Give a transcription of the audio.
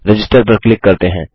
register पर click करते हैं